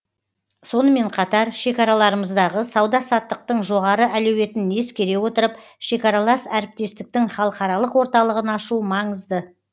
сонымен қатар шекараларымыздағы сауда саттықтың жоғары әлеуетін ескере отырып шекаралас әріптестіктің халықаралық орталығын ашу маңызды